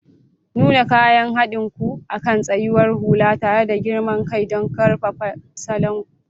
Nuna kayan haɗin ku akan tsayawar hula tare da girman kai don ƙarfafa salon ku.